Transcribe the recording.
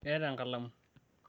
keeta enkalamu